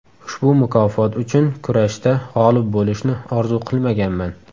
Ushbu mukofot uchun kurashda g‘olib bo‘lishni orzu qilmaganman.